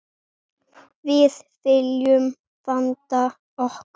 Við viljum vanda okkur.